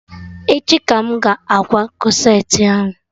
Echi ka m ga-akwa corsetị ahụ